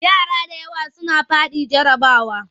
Yara da yawa sun faɗi jarrabawa.